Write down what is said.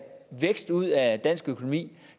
vækst ud af dansk økonomi